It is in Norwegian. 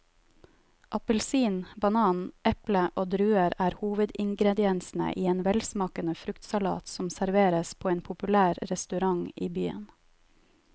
Appelsin, banan, eple og druer er hovedingredienser i en velsmakende fruktsalat som serveres på en populær restaurant i byen.